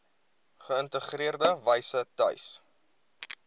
geïntegreerde wyse tuis